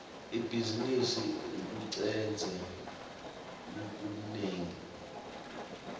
ibhizimisi icuketse lokunengi